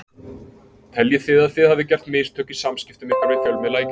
Teljið þið að þið hafið gert mistök í samskiptum ykkar við fjölmiðla í gær?